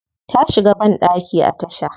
Ta shiga bandaki a tasha.